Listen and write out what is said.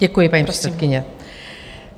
Děkuji, paní předsedkyně.